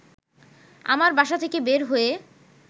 আমার বাসা থেকে বের হয়ে